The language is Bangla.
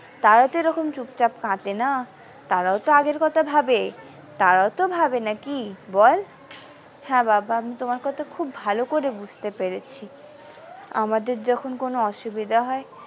তারা তো এরকম চুপচাপ কাঁদেনা তারাও তো আগের কথা ভাবে তারাও তো ভাবে নাকি বল হ্যাঁ বাবা আমি তোমার কথা খুব ভালো করে বুঝতে পেরেছি আমাদের যখন কোনো অসুবিধা হয়।